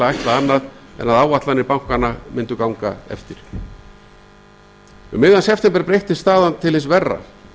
en að áætlanir bankanna myndu ganga eftir um miðjan september breyttist staðan til hins verra